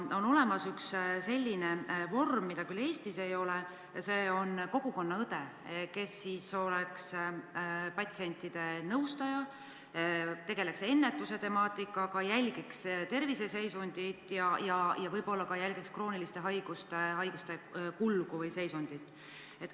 On olemas üks selline vorm, mida küll Eestis ei ole, nimelt kogukonnaõde, kes oleks siis patsientide nõustaja, tegeleks ennetuse temaatikaga, jälgiks inimese terviseseisundit ja võib-olla ka krooniliste haiguste kulgu või seisundit.